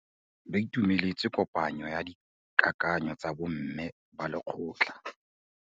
Ba itumeletse kôpanyo ya dikakanyô tsa bo mme ba lekgotla.